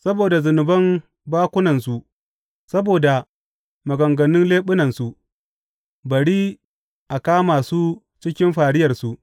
Saboda zunuban bakunansu, saboda maganganun leɓunansu, bari a kama su cikin fariyarsu.